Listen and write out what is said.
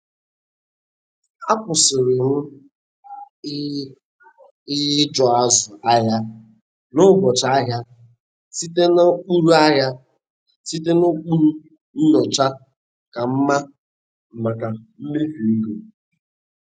Akwụsirị m iịi ụjọ azụ ahịa n'ụbọchị ahia site n'ụkpụrụ ahia site n'ụkpụrụ nyocha ka mma maka mmefu ego.